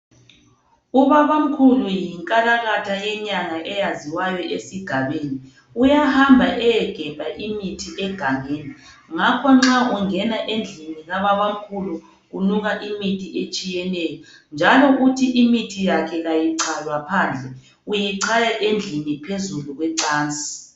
Ubabamkhulu yinkalakatha yenyanga eyaziwayo esigabeni uyahamba ayedinga imithi egangeni ngakho nxa ungena endlini kababamkhulu kunuka imithi etshiyeneyo njalo futhi imithi yakhe ayichaywa phandle uyichaya endlini phezulu kwecansi